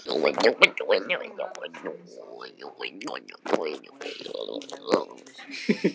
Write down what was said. Við Eva giftum okkur áður en ég fór aftur í fangelsi, á Kvíabryggju.